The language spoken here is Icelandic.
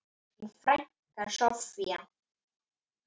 Þín frænka, Soffía.